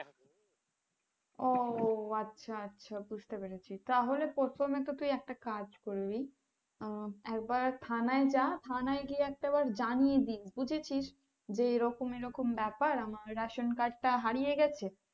ও আচ্ছা আচ্ছা বুঝতে পেরেছি তাহলে প্রথমে তো তুই একটা কাজ করবি, আহ একবার থানায় যা থানায় গিয়ে জানিয়ে দে বুঝেছিস যে এরকম এরকম ব্যাপার আমার ration card টা হারিয়ে গেছে,